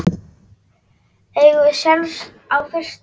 Eigum við séns á fyrsta?